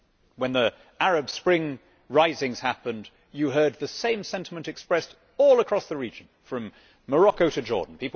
When the Arab Spring risings happened you heard the same sentiment expressed all across the region, from Morocco to Jordan.